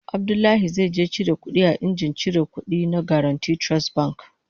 Abdullahi zai je cire kudi a injin ciran kudi na Guaranty Trust Bank